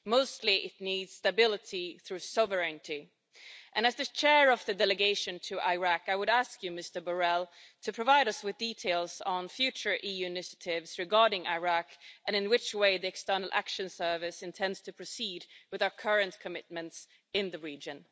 Mostly, it needs stability through sovereignty, and as the Chair of the Delegation to Iraq, I would ask you, Mr Borrell, to provide us with details on future EU initiatives regarding Iraq and on how the External Action Service intends to proceed with our current commitments in the region.